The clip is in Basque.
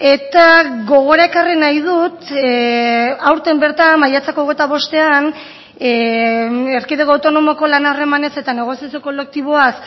eta gogora ekarri nahi dut aurten bertan maiatzak hogeita bostean erkidego autonomoko lan harremanez eta negoziazio kolektiboaz